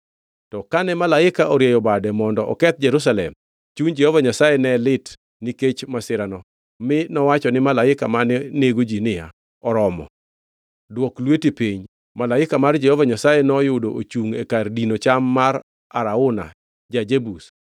To kane malaika orieyo bade mondo oketh Jerusalem, chuny Jehova Nyasaye ne lit nikech masirano mi nowacho ni malaika mane nego ji niya, “Oromo! Dwok lweti piny.” Malaika mar Jehova Nyasaye noyudo ochungʼ e kar dino cham mar Arauna ja-Jebus.